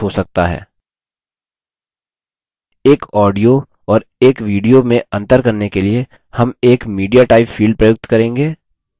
एक audio audio और एक video video में अंतर करने के लिए हम एक mediatype field प्रयुक्त करेंगे